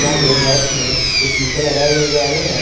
यहां पे रैंक में कुछ शीशे लगाए हुए नजर आ रहे हैं।